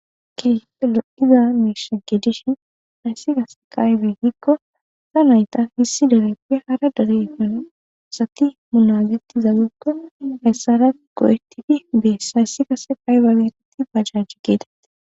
kefe lo7ida meesha geedishin hayssi kase qaybee hikko sa nayta hissi dareppe hara darigone sati munaziti zaagekko hayssara go7etidi beess hayssi kase qaybagereti bajajj geedati